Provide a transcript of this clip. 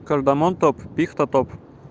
кардамон топ пихта топ